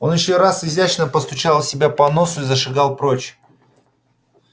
он ещё раз изящно постучал себя по носу и зашагал прочь